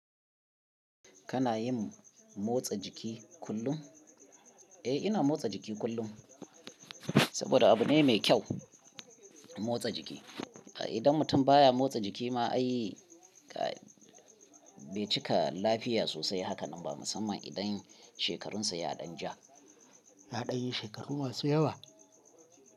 Kana yin motsa jiki kullum? Eh ina motsa jiki kullum, saboda abu ne mai kyau motsa jiki. Idan mutum baya motsa jiki ma ai kai, bai cika lafiya sosai. Haka nan ba, musamman idan shekarunsa yaɗan ja. Yaɗan yi shekaru masu yawa?